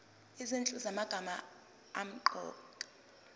izinhlu zamagama asemqoka